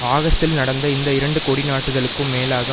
ஆகஸ்டில் நடந்த இந்த இரண்டு கொடி நாட்டுதலுக்கும் மேலாக